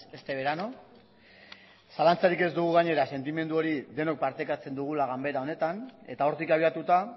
este verano zalantzarik ez dugu gainera sentimendu hori denok partekatzen dugula ganbara honetan eta hortik abiatuta